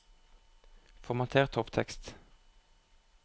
Formater topptekst